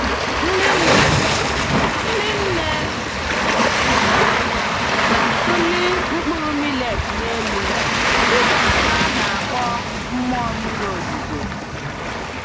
Ndị nne anyị Ndị nne anyị na-atụli mkpụrụ millet n'elu dịka ha na-akpọ mmụọ mmiri ozuzo.